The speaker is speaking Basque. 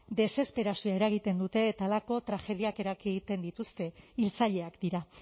desesperazioz eragiten dute eta halako tragediak eragiten dituzte hiltzaileak dira